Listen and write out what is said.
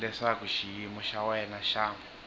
leswaku xiyimo xa wena xa